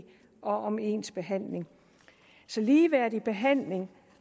og om ens behandling ligeværdig behandling